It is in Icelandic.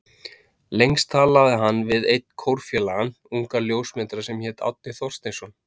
Lengst talaði hann við einn kórfélagann, ungan ljósmyndara sem hét Árni Thorsteinsson.